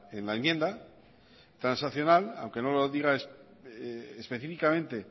en la enmienda transaccional aunque no lo diga específicamente